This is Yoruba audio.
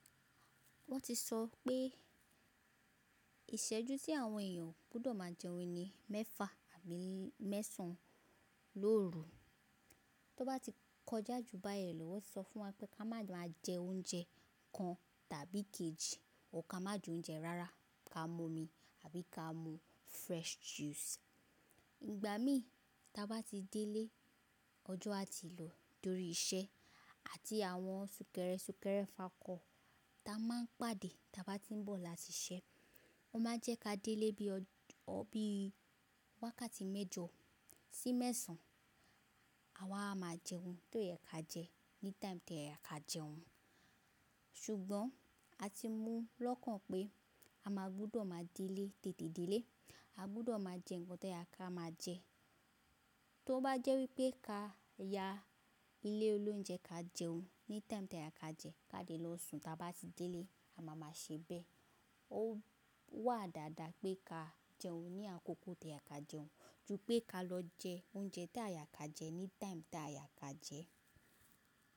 Wọ́n ti sọ pé ìṣẹ́jú tí àwọn èèyàn gbọ́dọ̀ máa jẹ oúnjẹ ni mẹ́fà àbí mẹ́sàn-án lóru. Tí ó bá ti kọjá jù bá yẹn lọ, wọ́n ti sọ fún wa pé ká máa jẹ oúnjẹ kan tàbí ìkejì, or ká má jẹ oúnjẹ rárá, ká mú omi àbí ká mú fresh juice. Ìgbà mí ta bá ti délé ọjọ́ a ti lò tórí iṣẹ́ àti àwọn súnkẹrẹsùkẹrẹ fakọ̀ ta a máa ń pàdé ta bá ti ń bọ̀ láti iṣẹ́. Wọ́n máa ń jẹ́ ká délé bí i wákàtí mẹ́jọ sí mẹ́sàn-án. Àwa a máa jẹ oun tí ó yẹ ká jẹ ní time tí o yẹ ká jẹ oun. Ṣùgbọ́n a ti mú lọ́kàn pé a máa gbọ́dọ̀ máa délé tètè délé. A gbọ́dọ̀ máa jẹ nǹkan tó yẹ ká máa jẹ. Tó bá jẹ́ wípé ká yá ilé olóúnjẹ ká jẹ oun ní time tí o yẹ ká jẹ, ká dé lọ sùn ta bá ti délé, a máa máa ṣe bẹ́ẹ̀. Ó wà dáadáa pé ká jẹ oun ní àkókò tí o yẹ ká jẹ oun ju pé ká lọ jẹ oúnjẹ tí a yẹ ká jẹ ní time tí a yẹ ká jẹ.